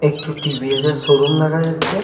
একটু টি.ভি.এস. -এর শোরুম দেখা যাচ্ছে।